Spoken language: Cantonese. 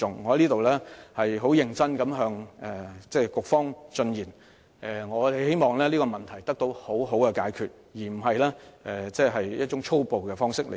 我在此認真的向局方進言，希望這個問題得到妥善解決，而非以一種粗暴的方式對待。